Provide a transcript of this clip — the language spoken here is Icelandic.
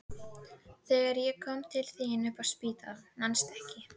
Þegar ég kom til þín upp á spítala, manstu ekki?